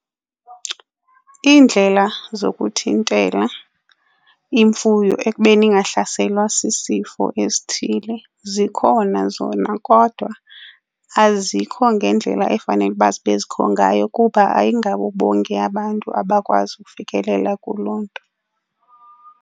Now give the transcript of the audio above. Iindlela zokuthintela imfuyo ekubeni ingahlaselwa sisifo esithile zikhona zona, kodwa azikho ngendlela efanele uba zibekho ngayo kuba ayingabo bonke abantu abakwazi ukufikelela kuloo nto.